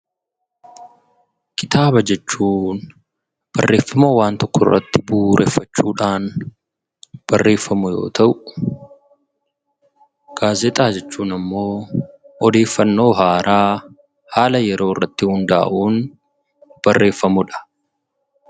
Kitaaba jechuun barreffama waan tokko irratti bu'uureffachuu dhaan barreeffamu yoo ta'u; Gaazexaa jechuun immoo odeeffannoo haaraa, haala yeroo irratti hundaa'uun barreeffamu dha.